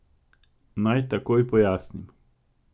Naj takoj pojasnim.